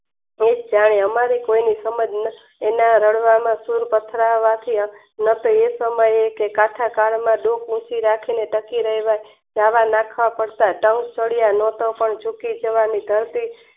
અમારું કોઈને એના રણવામાં પથરાવા ન એ સમય કે આખા કાળ માં રાખીને પછી રહેલા નાખવા પડતા તો પણ જુકી